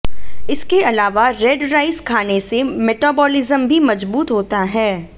इसके अलावा red rice खाने से मेटाबोलिज्म भी मजबूत होता है